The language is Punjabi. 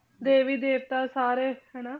ਦੇਵੀ ਦੇਵਤਾ ਸਾਰੇ ਹਨਾ,